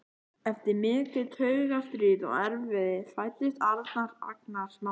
Eftir mikið taugastríð og erfiði fæddist Arnar, agnarsmár.